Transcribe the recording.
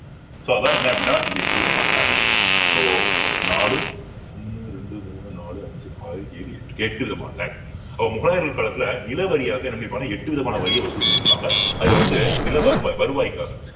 so அதான் என்ன அப்படின்னா இந்த எட்டு விதமான tax so நாலு ஒண்ணு ரெண்டு மூணு நாலு அஞ்சு ஆறு ஏழு எட்டு விதமான tax அப்போ முகலாயர்கள் காலத்துல நில வாரியாக என்ன பண்ணிருப்பாங்கன்னா எட்டு விதமான வரியை வசூல் பண்ணியிருப்பாங்க அதுல வந்து நில வருவாய்~ வருவாய்க்காக